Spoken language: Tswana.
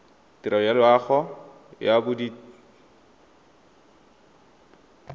tirelo ya loago ya bodit